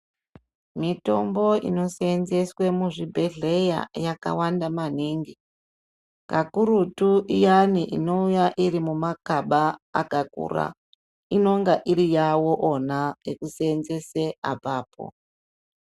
Mitombo inosenzeswe muzvibhedhleya yakawanda maningi. Kakurutu, iyani inowuya irimumakaba akakura. Inonga iriyawo ona ekusenzese apapo.